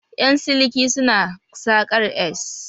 Ƴan siliki suna saƙar s